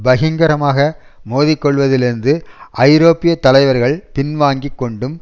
பகிங்கரமாக மோதிக்கொள்வதிலிருந்து ஐரோப்பிய தலைவர்கள் பின்வாங்கி கொண்டும்